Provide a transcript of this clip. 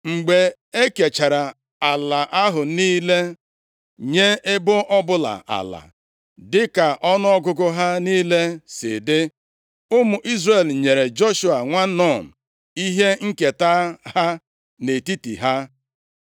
Mgbe e kechara ala ahụ niile, nye ebo ọbụla ala dịka ọnụọgụgụ ha niile si dị, ụmụ Izrel nyere Joshua, nwa Nun ihe nketa ha nʼetiti ha.